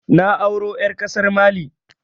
Na auro ƴar ƙasar Mali